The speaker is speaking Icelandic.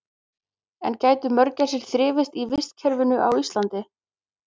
En gætu mörgæsir þrifist í vistkerfinu á Íslandi?